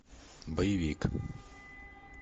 боевик